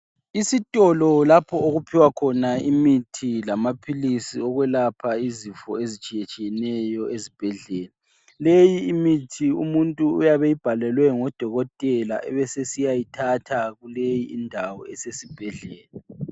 Isitolo lapho okuphiwa khona imithi lamaphilisi okwelapha izifo ezitshiyetshiyeneyo ezibhedlela. Leyi imithi umuntu uyabe eyibhalelwe ngodokotela abesesiyayithatha kuleyindawo esesibhedlela.